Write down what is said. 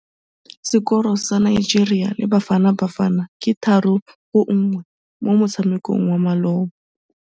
Sekôrô sa Nigeria le Bafanabafana ke 3-1 mo motshamekong wa malôba.